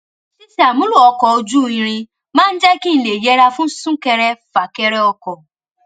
ṣíṣe àmúlò ọkò ojú irin máa ń jé kí n lè yẹra fún súnkẹrẹfàkẹrẹ ọkò